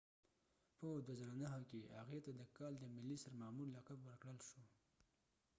په 2009 کې هغې ته د کال د ملي سرمامور لقب ورکړل شو